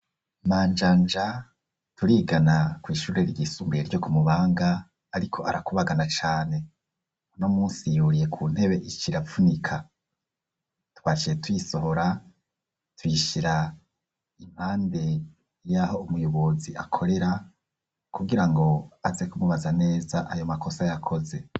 Manjanja turigana kw'ishure ryisumbuye ryo ku Mubanga ariko arakubagana cane. Uno munsi yuriye ku ntebe ikiravunika. Twakiye tuyisohora tuyishira impande y'aho umuyobozi akorera, kugirango aze kumubaza neza ayo makosa yakoze.